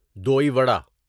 دوی وڑا দই বড়া